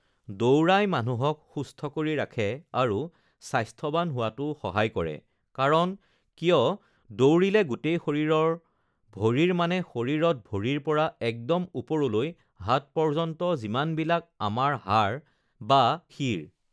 দৌৰাই মানুহক সুস্থ কৰি ৰাখে আৰু স্বাস্থ্যৱান হোৱাটো সহায় কৰে কাৰণ কিয়, দৌৰিলে গোটেই শৰীৰৰ ভৰিৰ মানে শৰীৰত ভৰিৰ পৰা একদম ওপৰলৈ হাত পৰ্য্য়ন্ত যিমানবিলাক আমাৰ হাড় বা সিৰ